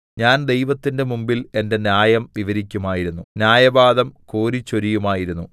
ഞാൻ ദൈവത്തിന്റെ മുമ്പിൽ എന്റെ ന്യായം വിവരിക്കുമായിരുന്നു ന്യായവാദം കോരിച്ചൊരിയുമായിരുന്നു